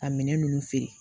Ka minɛn ninnu feere